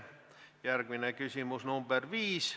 Järgmine küsimus on number 5.